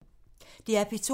DR P2